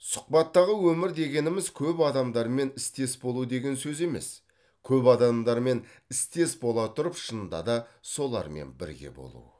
сұхбаттағы өмір дегеніміз көп адамдармен істес болу деген сөз емес көп адамдармен істес бола тұрып шынында да солармен бірге болу